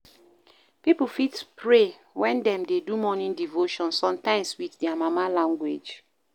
Pipo fit pray when dem dey do morning devotion, sometimes with their mama language